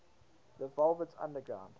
the velvet underground